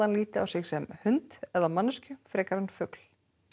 líti á sig sem hund eða manneskju frekar en fugl